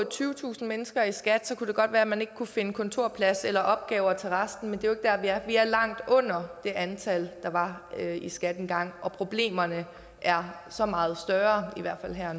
tyvetusind mennesker ansat i skat kunne det godt være man ikke kunne finde kontorpladser eller opgaver til resten men det er der vi er vi er langt under det antal der var i skat engang og problemerne er så meget større i hvert fald her